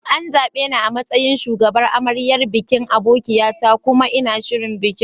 An zaɓe ni a matsayin shugabar amaryar bikin abokia ta kuma ina shirin bikin.